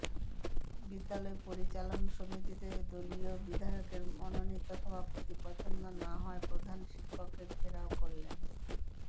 বিদ্যালয় পরিচালন সমিতিতে দলীয় বিধায়কের মনোনীত সভাপতি পছন্দ না হওয়ায় প্রধান শিক্ষককে ঘেরাও করলেন